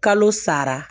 Kalo sara